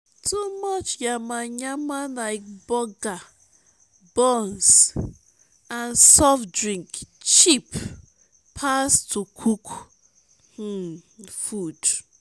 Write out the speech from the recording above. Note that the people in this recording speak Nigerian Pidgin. too much yama yama lyk burger buns um nd soft drink cheap pass to cook um food